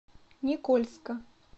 никольска